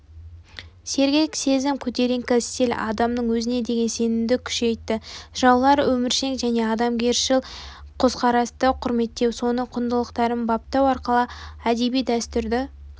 сергек сезім көтеріңкі стиль адамның өзіне деген сенімді күшейітті жыраулар өміршең және адамгершіл көзқарасты құрметтеу соның құндылықтарын баптау арқылы әдеби дәстүрді